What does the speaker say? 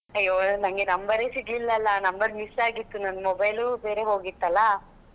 ಅಯ್ಯೋ ನಂಗೆ number ಸಿಗ್ಲಿಲ್ಲಲ್ಲ number miss ಆಗಿತ್ತು ನನ್ನ mobile ಬೇರೆ ಹೋಗಿತ್ತಲ್ಲಾ.